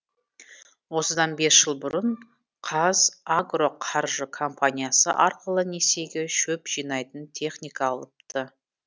осыдан бес жыл бұрын қазагроқаржы компаниясы арқылы несиеге шөп жинайтын техника алыпты